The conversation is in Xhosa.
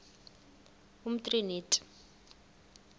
umtriniti